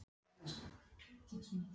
Bambi, hvað er í dagatalinu mínu í dag?